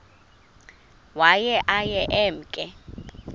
waye aye emke